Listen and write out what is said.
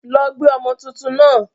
Lọ gbé ọmọ tuntun náà!